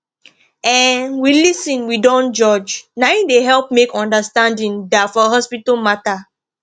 um we lis ten we dont judge naim dey help make understanding da for hospital matter